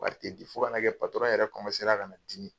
Wari tɛ di fo ka na kɛ yɛrɛ ka na dimi.